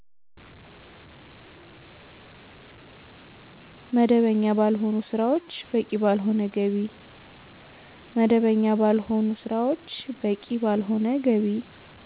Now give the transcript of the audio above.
መደበኛ ባልሆኑ ስራዎች በቂ ባልሆነ ገቢ